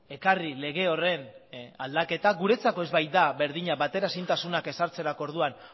ekarri lege horren aldaketa guretzako ez baita berdina bateraezintasunak ezartzerako orduan